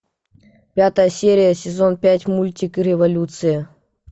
пятая серия сезон пять мультик революция